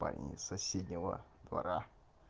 парни с соседнего двора